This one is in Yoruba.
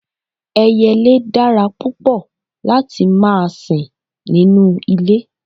Ẹyẹlẹ dára púpọ̀ lati má sin nínu ilẹ̀.